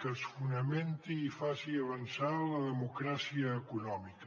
que es fonamenti i faci avançar la democràcia econòmica